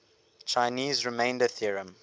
chinese remainder theorem